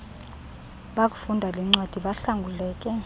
bakufunda lencwadi bahlanguleke